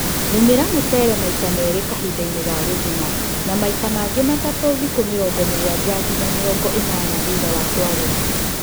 Lĩmira mũcere maita meli kahindainĩ ga guthuna na maita mangĩ matatũ thikũ mirongo mũgwanja nginya mĩrongo ĩnana thutha wa kũarĩla